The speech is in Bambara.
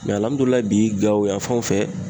bi Gawo yan fanw fɛ